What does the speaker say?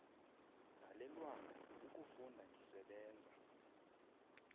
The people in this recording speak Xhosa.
dalelwanga ukufunda ndisebenza